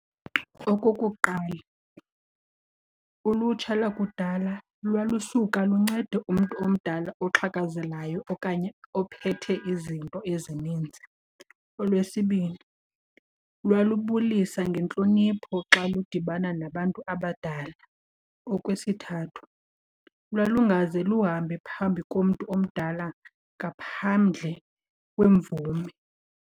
Okokuqala, ulutsha lakudala lwalusuka luncede umntu omdala oxhakazelayo okanye ophethe izinto ezininzi. Olwesibini, lwalubulisa ngentlonipho xa ludibana nabantu abadala. Okwesithathu, lwalungaze luhambe phambi komntu omdala ngaphandle kwemvume.